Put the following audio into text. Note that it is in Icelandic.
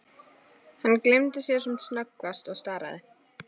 Hann gleymdi sér sem snöggvast og starði.